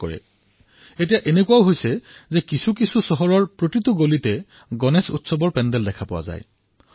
আজি বহু চহৰত এনেকুৱা হয় যে আপোনালোকে দেখিব প্ৰতিটো গলিতে গণেশৰ পেণ্ডেল দেখিবলৈ পোৱা যায়